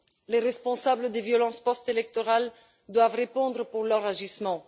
Les responsables des violences post électorales doivent répondre de leurs agissements.